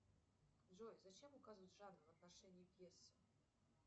джой зачем указывать жанр в отношении пьесы